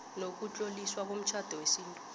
nokutloliswa komtjhado wesintu